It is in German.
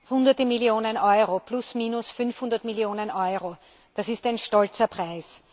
Hunderte Millionen Euro, plus minus 500Millionen Euro das ist ein stolzer Preis!